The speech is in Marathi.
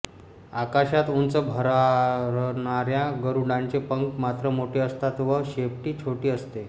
आकाशात उंच भरारणाऱ्या गरुडांचे पंख मात्र मोठे असतात व शेपटी छोटी असते